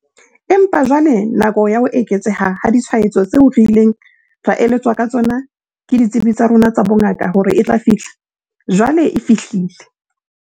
Empa jwale nako ya ho eketseha ha ditshwaetso tseo re ileng ra eletswa ka tsona ke ditsebi tsa rona tsa bongaka hore e tla fihla, jwale e fihlile.